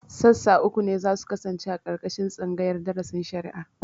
Sassa uku ne za su kasance a ƙarƙashin tsangayar darasin shari'a